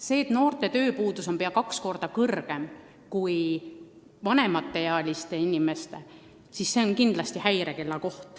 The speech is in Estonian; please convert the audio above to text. See, et noorte tööpuudus on pea kaks korda suurem kui vanemaealiste inimeste oma, on kindlasti häirekell.